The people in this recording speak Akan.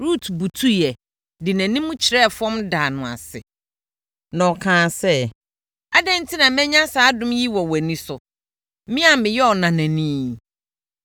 Rut butuiɛ, de nʼanim kyerɛɛ fam daa no ase. Na ɔkaa sɛ, “Adɛn enti na manya saa adom yi wɔ wʼani so, me a meyɛ ɔnanani yi?”